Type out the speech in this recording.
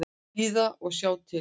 Bíða og sjá til.